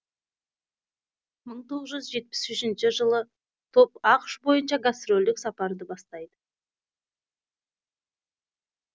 мың тоғыз жүз жетпіс үшінші жылы топ ақш бойынша гастрольдік сапарды бастайды